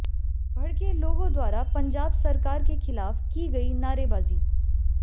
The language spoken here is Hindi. भड़के लोगों द्वारा पंजाब सरकार के खिलाफ की गई नारेबाजी